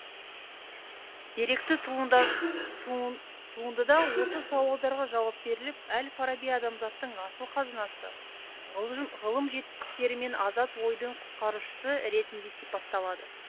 деректі туындыда осы сауалдарға жауап беріліп әл фараби адамзаттың асыл қазынасы ғылым жетістіктері мен азат ойдың құтқарушысы ретінде сипатталады